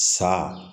Sa